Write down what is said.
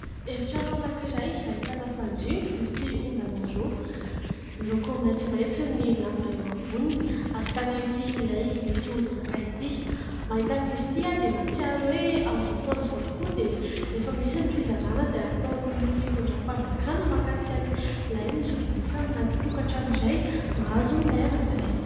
Efitrano anankiray ahitana fandriana misy ondana roa, miloko maitsomaitso ny lamba eo amboniny, ahitana ity lay misy ody moka ity. Mahita an'izy ity aho dia nahatsiaro hoe amin'izao fotoana izao tokoa dia efa misy ny fizarana izay ataon'ny fitondram-panjakana mahakasika ny lay misy ody moka anaty tokantrano iray, mahazo lay anankiray.